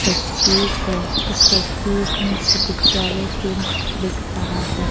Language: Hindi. तस्वीर है इस तस्वीर में चिकित्सालय केंद्र दिख रहा है।